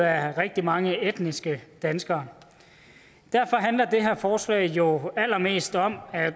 af rigtig mange etniske danskere derfor handler det her forslag jo allermest om at